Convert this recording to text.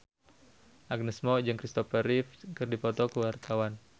Agnes Mo jeung Kristopher Reeve keur dipoto ku wartawan